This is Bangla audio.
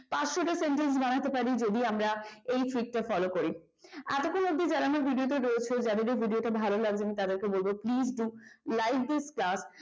পাঁচশো টা sentence ও বানাতে পারে যদি আমরা এই trick টা follow করি এতক্ষণ অব্দি যারা আমার ভিডিওটায় রয়েছে তাদেরকে বলব please like this class